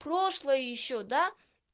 прошлое ещё да